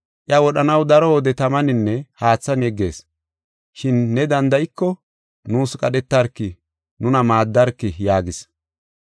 Iya wodhanaw daro wode tamaninne haathan yeggees, shin ne danda7iko, nuus qadhetarki, nuna maaddarki” yaagis.